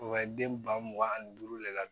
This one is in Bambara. O ka den ba mugan ani duuru lajɛ